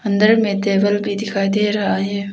अंदर में टेबल भी दिखाई दे रहा है।